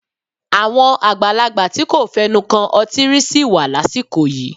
Àwọn àgbàlagbà tí kò fẹnu kan ọtí rí sì wà lásìkò yìí.